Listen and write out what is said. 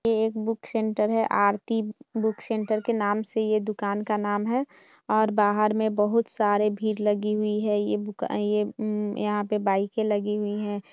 ये एक book centre है आरती बुक सेंटर के नाम से ये दुकान का नाम है और बाहर में बहुत सारे भीड़ लगी हुई है। ये बुका ये उम यहाँ पे बाइकें लगी हुई हैं।